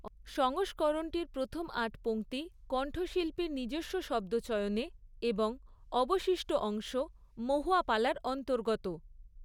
সংস্করণটির প্রথম আট পঙতি কন্ঠশিল্পীর নিজস্ব শব্দচয়নে এবং অবশিষ্ঠ অংশ মহুয়াপালার অন্তর্গত।